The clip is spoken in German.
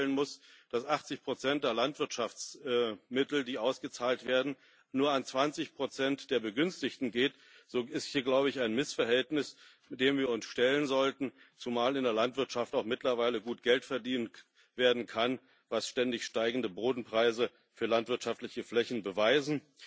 Wenn ich feststellen muss, dass 80 der Landwirtschaftsmittel, die ausgezahlt werden, nur an 20 der Begünstigten gehen, besteht hier, glaube ich, ein Missverhältnis, dem wir uns stellen sollten, zumal in der Landwirtschaft mittlerweile auch gut Geld verdient werden kann, was ständig steigende Bodenpreise für landwirtschaftliche Flächen beweisen.